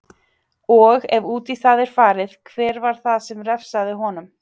Og, ef út í það er farið, hver var það sem refsaði honum?